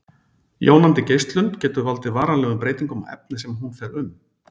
Jónandi geislun getur valdið varanlegum breytingum á efni sem hún fer um.